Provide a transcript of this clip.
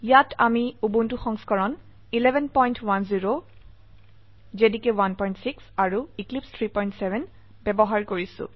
ইয়াত আমি উবুন্টু সংস্কৰণ 1110 জেডিকে 16 আৰু এক্লিপছে 370 ব্যবহাৰ কৰিছো